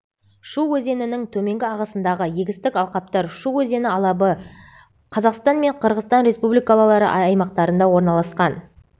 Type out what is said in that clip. шу өзенінің төменгі ағысындағы егістік алқаптар шу өзені алабы қазақстан мен қырғызстан республикалары аймақтарында орналасқан